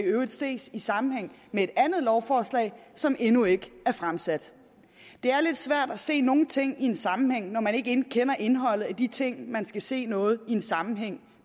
ses i sammenhæng med et andet lovforslag som endnu ikke er fremsat det er lidt svært at se nogle ting i en sammenhæng når man ikke kender indholdet af de ting man skal se noget i en sammenhæng